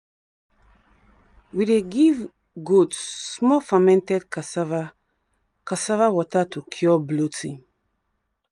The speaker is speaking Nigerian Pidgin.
we dey give goat small fermented cassava cassava water to cure bloating.